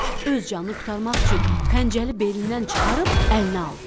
Öz canını qurtarmaq üçün xəncəri belindən çıxarıb əlinə aldı.